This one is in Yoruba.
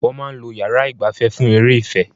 Wọ́n máa ń lo yàrá ìgbafẹ́ fún eré ìfẹ́.